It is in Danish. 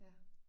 Ja